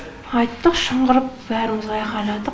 айттық шыңғырып бәріміз айғайладық